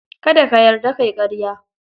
Kada ka yarda ka yi ƙarya.